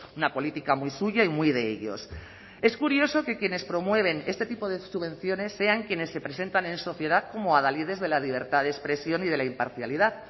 una política muy suya y muy de ellos es curioso que quienes promueven este tipo de subvenciones sean quienes se presentan en sociedad como adalides de la libertad de expresión y de la imparcialidad